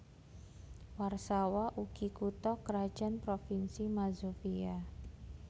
Warsawa ugi kutha krajan provinsi Mazovia